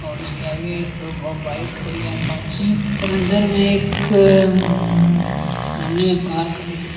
और इसके आगे एक ब ब बाइक खड़ी है अपाची और अंदर में एक हम्म सामने एक कार खड़ी है।